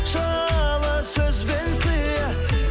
жылы сөз бен сыйы